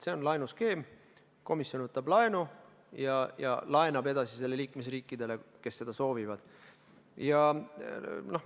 See on laenuskeem, komisjon võtab laenu ja laenab selle edasi liikmesriikidele, kes seda soovivad.